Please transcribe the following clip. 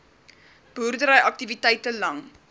boerdery aktiwiteite lang